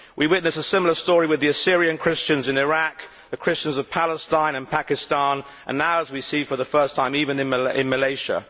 We witness a similar story with the Assyrian Christians in Iraq, the Christians of Palestine and Pakistan, and now, as we see for the first time, even in Malaysia.